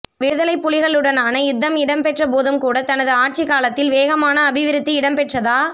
விடுதலை புலிகளுடனான யுத்தம் இடம்பெற்ற போதும்கூட தனது ஆட்சிக்காலத்தில் வேகமான அபிவிருத்தி இடம்பெற்றதா